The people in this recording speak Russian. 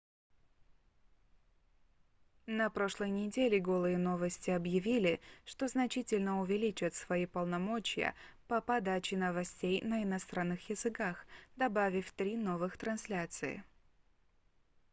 на прошлой неделе голые новости объявили что значительно увеличат свои полномочия по подаче новостей на иностранных языках добавив три новых трансляции